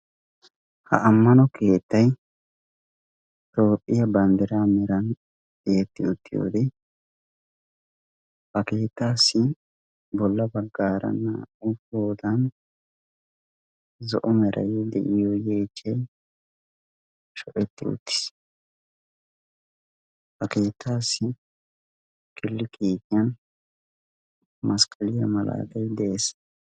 ha ammano keettai toophphiya banddiraa meran eetti uttiyoodi ha keetaassi bolla baggaara naa77u poodan zo7o merai di iyoyeecchee sho7etti uttiis ha keetaassi kilikiitiyan maskkaliyaa malaatai de7ees